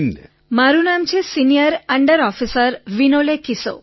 વિનોલેકિસો મારું નામ છે સીનિયર અંડર ઑફિસર વિનોલેકિસો